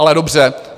Ale dobře.